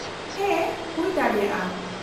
-ᱦᱮᱸ , ᱦᱩᱭ ᱫᱟᱲᱮᱭᱟᱜᱼᱟ ᱾